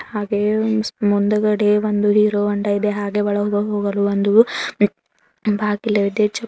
ಹಾಗೆ ಮುಂದುಗಡೆ ಒಂದು ಹೀರೋ ಹೋಂಡಾ ಇದೆ ಹಾಗೆ ಒಳಗೆ ಹೋಗಲು ಒಂದು ಬಾಗಿಲು ಇದೆ.